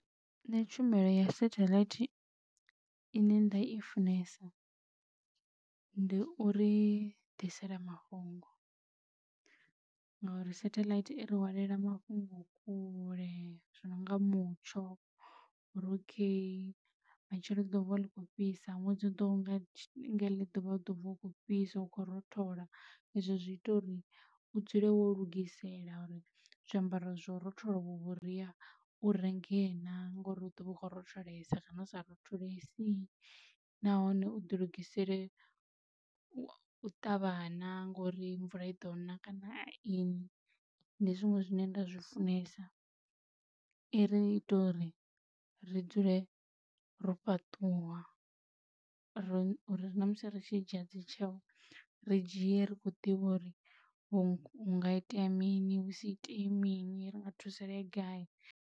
Nṋe tshumelo ya satelite ine nda i funesa ndi uri ḓisela mafhungo ngori satelite i ri hwalela mafhungo kule zwi no nga mutsho uri ok matshelo ḽi ḓo vuwa ḽi kho fhisa ṅwedzi u ḓaho nga heḽi ḓuvha u ḓo vuwa hu kho fhisa u khou rothola. Ezwo zwi ita uriu dzule wo lugisela uri zwiambaro zwo rothola uvho vhuria u renge na ngori hu ḓovha u kho rotholesa kana hu sa rotholesi nahone u ḓi lugisele u ṱavha naa ngori mvula i ḓo na kana a ini ndi zwiṅwe zwine nda zwi funesa i ri ita uri ri dzule ro fhaṱuwa ri ri na musi ri tshi dzhia dzi tsheyo ri dzhie ri kho ḓivha uri hu nga itea mini husi itee mini ri nga thusaleya gai.